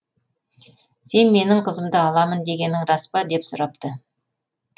сен менің қызымды аламын дегенің рас па деп сұрапты